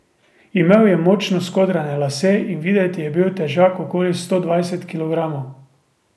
Imel je močno skodrane lase in videti je bil težak okoli sto dvajset kilogramov.